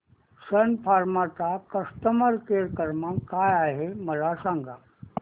सन Pharma चा customer care क्रमांक काय आहे मला सांगा